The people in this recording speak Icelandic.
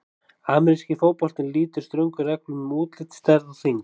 Ameríski fótboltinn lýtur ströngum reglum um útlit, stærð og þyngd.